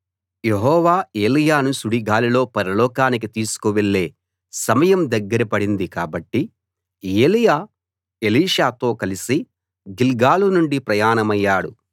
యెహోవా ఏలీయాను సుడిగాలిలో పరలోకానికి తీసుకువెళ్ళే సమయం దగ్గర పడింది కాబట్టి ఏలీయా ఎలీషాతో కలసి గిల్గాలు నుండి ప్రయాణమయ్యాడు